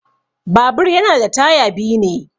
Babur yana da taya biyu ne.